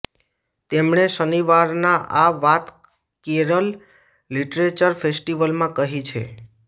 તેમણે શનિવારનાં આ વાત કેરલ લિટરેચર ફેસ્ટિવલમાં કહી છે